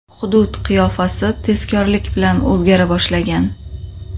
Hudud qiyofasi tezkorlik bilan o‘zgara boshlagan.